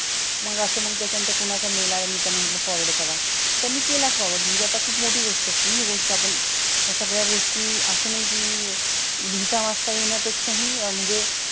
मंग असं मग त्याचा नंतर कुणाचा mail आला मी त्यांना म्हंटल forward करा, त्यांनी केला forward म्हणजे अता खूप मोठी गोष्ट हि गोष्ट आपण तर सगळ्या गोष्टी असं नाय कि लिहिता वाचता येण्या पेक्षा हि म्हणजे